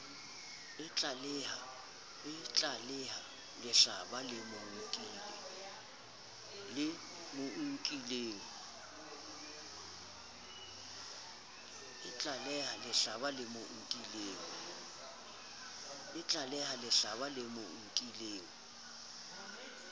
itlaleha lehlaba le mo nkileng